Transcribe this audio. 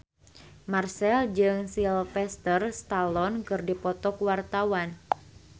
Marchell jeung Sylvester Stallone keur dipoto ku wartawan